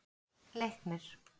Leiknir